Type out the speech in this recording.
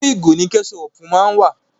Inú ìgò ni kẹ́ṣọpù má ń wà.